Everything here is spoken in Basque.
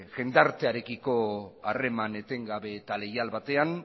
jendartearekiko harreman etengabe eta leial batean